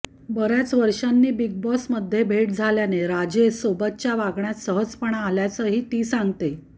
बऱ्याच वर्षांनी बिग बॉसमध्ये भेट झाल्याने राजेशसोबतच्या वागण्यात सहजपणा आल्याचंही ती सांगते